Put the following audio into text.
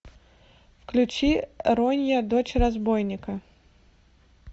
включи ронья дочь разбойника